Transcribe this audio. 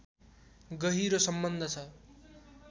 गहिरो सम्बन्ध छ